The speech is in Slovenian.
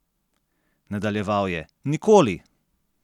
Nadaljeval je: "Nikoli!